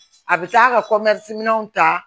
A bɛ taa ka minɛn ta